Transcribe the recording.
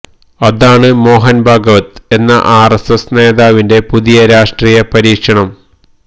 അതാണ് മോഹന് ഭാഗവത് എന്ന R S S നേതാവിന്റെ പുതിയ രാഷ്ട്രീയ പരീക്ഷണം